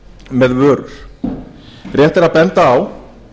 með vörur rétt er að benda á